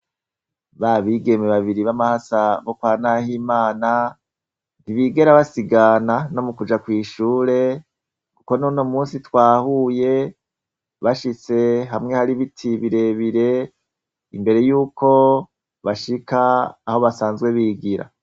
Ba bigeme babiri b'amahasa bo kwa Nahimana ntibigera basigana no mukuja kw'ishure kuko n'uno musi twahuye bashitse hamwe hari ibiti birebire imbere y'uko bashika aho basanzwe bigira.